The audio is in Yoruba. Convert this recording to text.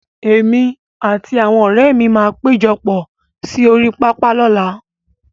Èmi àti àwọn ọ̀rẹ́ mi máa péjọpọ̀ sí orí pápá lọ́làá.